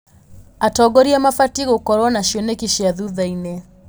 Atongoria mabatiĩ gũkorwo na cioneki cia thutha-inĩ.